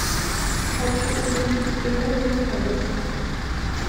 хочу увидеть кино менталист